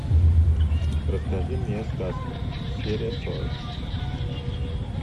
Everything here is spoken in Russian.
расскажи мне сказку серия сорок